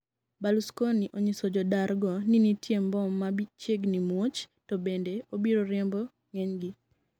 Berlusconi onyiso jodar go ni nitie mbom machiegni muoch to bende obiro riembo ng'enygi